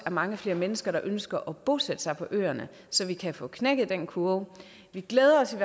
mange flere mennesker der ønsker at bosætte sig på øerne så vi kan få knækket den kurve vi glæder os